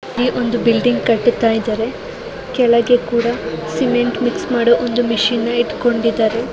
ಈ ಒಂದು ಬಿಲ್ಡಿಂಗ್ ಕಟ್ಟುತ್ತಾ ಇದ್ದಾರೆ ಕೆಳಗೆ ಕೂಡ ಸಿಮೆಂಟ್ ಮಿಕ್ಸ್ ಮಾಡೋ ಒಂದು ಮಿಷಿನ್ ನ ಇಟ್ಕೊಂಡಿದ್ದಾರೆ.